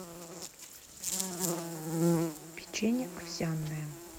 печенье овсяное